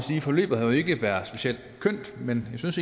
forløbet ikke har været specielt kønt men jeg synes